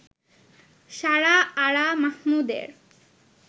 সারা আরা মাহমুদের